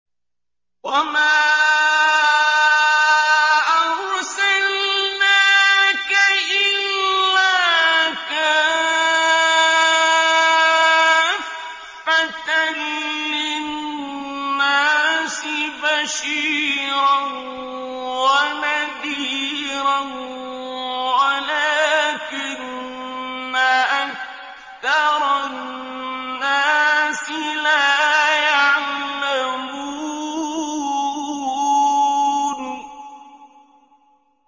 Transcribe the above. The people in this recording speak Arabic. وَمَا أَرْسَلْنَاكَ إِلَّا كَافَّةً لِّلنَّاسِ بَشِيرًا وَنَذِيرًا وَلَٰكِنَّ أَكْثَرَ النَّاسِ لَا يَعْلَمُونَ